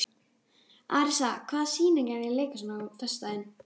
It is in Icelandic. Arisa, hvaða sýningar eru í leikhúsinu á föstudaginn?